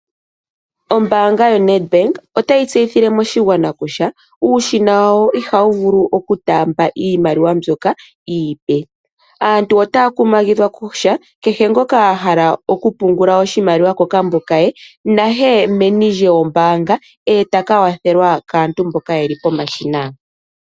Ombaanga yoNedbank otayi tseyithile moshigwana kutya uushina wawo ohawu vulu okutaamba iimaliwa mbyoka iipe. Aantu otaya kumagidhwa kutya kehe ngoka ahala okupungula oshimaliwa kokambo ke naye meni lyombaanga etaka kwathelwa kaantu mboka yeli pomashina.